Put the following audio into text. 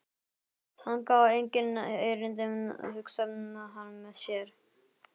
Þangað á enginn erindi, hugsaði hann með sér.